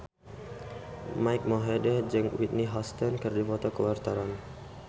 Mike Mohede jeung Whitney Houston keur dipoto ku wartawan